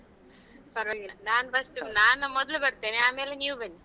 ಪರ್ವಾಗಿಲ್ಲ ನಾನು first ನಾನು ಮೊದಲು ಬರ್ತೇನೆ ಆಮೇಲೆ ನೀವು ಬನ್ನಿ.